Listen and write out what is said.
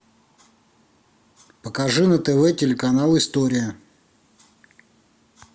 покажи на тв телеканал история